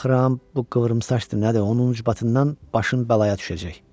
Baxıram, bu qıvrımsaçdı nədir, onun cıbatından başın bəlaya düşəcək.